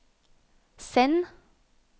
send